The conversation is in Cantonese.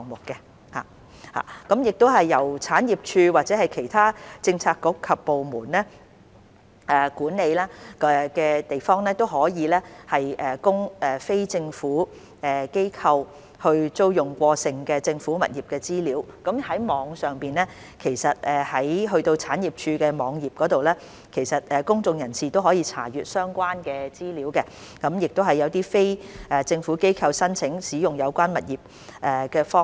由政府產業署或者其他政策局及部門所管理，可供非政府機構租用的過剩政府物業的資料，其實已上載至政府產業署的網頁供公眾人士查閱，當中也有一些非政府機構申請使用有關物業的方法。